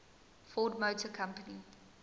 ford motor company